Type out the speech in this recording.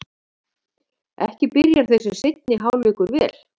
Ekki byrjar þessi seinni hálfleikur vel!